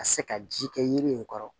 Ka se ka ji kɛ yiri in kɔrɔ